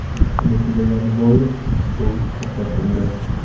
Ish kuni tugagani bois eshituv to‘xtatildi.